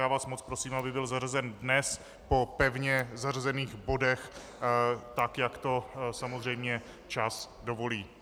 Já vás moc prosím, aby byl zařazen dnes po pevně zařazených bodech tak, jak to samozřejmě čas dovolí.